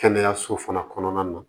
Kɛnɛyaso fana kɔnɔna na